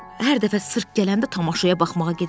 Hər dəfə sirk gələndə tamaşaya baxmağa gedəcəm.